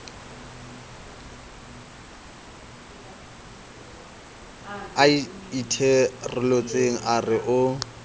a itherolotseng a re o